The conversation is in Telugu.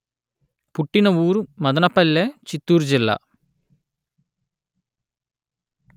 పుట్టిన ఊరు మదనపల్లె చిత్తూరు జిల్లా